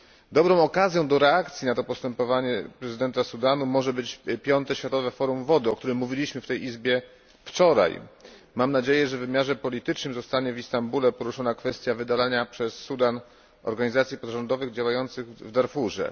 Dobrą okazją do reakcji na to postępowanie prezydenta Sudanu może być Piąte Światowe Forum Wody, o którym mówiliśmy w tej Izbie wczoraj. Mam nadzieję, że w wymiarze politycznym zostanie w Istambule poruszona kwestia wydalania przez Sudan organizacji pozarządowych działających w Darfurze.